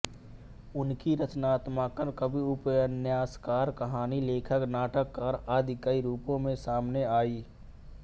उनकी रचनात्मकता कवि उपन्यासकार कहानी लेखक नाटककार आदि कई रूपों में सामने आई